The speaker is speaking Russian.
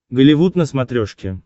голливуд на смотрешке